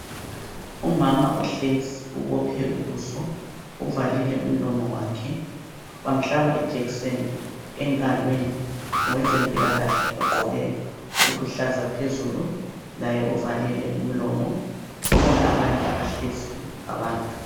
Umama uhlezi, ubophe ubuso. Uvalile umlomo wakhe. Bamhlaba ijekiseni engalweni ngowezempilakahle ogqoke okuluhlaza phezulu. Laye uvalile umlomo. Kukhona abanye abahleziyo abantu.